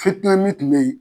Fitina min tun be yen